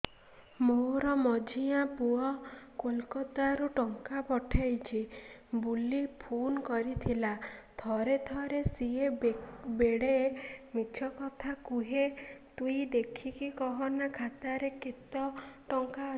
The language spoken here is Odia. ମୋର ମଝିଆ ପୁଅ କୋଲକତା ରୁ ଟଙ୍କା ପଠେଇଚି ବୁଲି ଫୁନ କରିଥିଲା ଥରେ ଥରେ ସିଏ ବେଡେ ମିଛ କଥା କୁହେ ତୁଇ ଦେଖିକି କହନା ଖାତାରେ କେତ ଟଙ୍କା ଅଛି